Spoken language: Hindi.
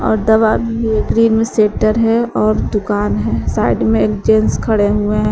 और दवा मे शेटर है और दुकान है साइड में एक जेंट्स खड़े हुए हैं।